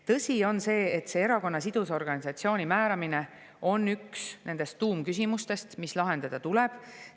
Tõsi on see, et erakonna sidusorganisatsiooni määramine on üks nendest tuumküsimustest, mis lahendada tuleb.